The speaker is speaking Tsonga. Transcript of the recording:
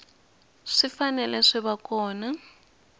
swi fanele swi va kona